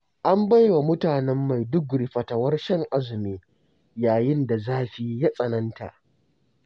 An baiwa mutanen Maiduguri fatawar shan azumi, yayin da zafi ya tsananta.